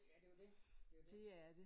Ja det er jo det. Det er jo det